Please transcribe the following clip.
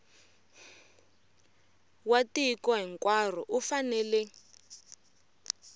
wa tiko hinkwaro u fanele